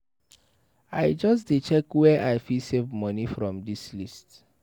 I just dey check where I fit save moni from dis list.